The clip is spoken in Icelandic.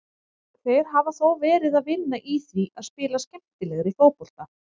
Þeir hafa þó verið að vinna í því að spila skemmtilegri fótbolta.